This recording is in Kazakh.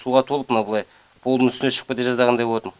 суға толып мынау былай полдың үстіне шығып кете жаздағандай болатын